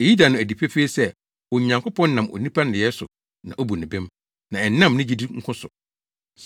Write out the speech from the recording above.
Eyi da no adi pefee sɛ Onyankopɔn nam onipa nneyɛe so na obu no bem, na ɛnnam ne gyidi nko so.